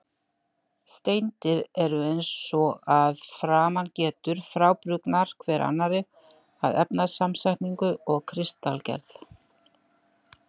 Steindir eru, eins og að framan getur, frábrugðnar hver annarri að efnasamsetningu og kristalgerð.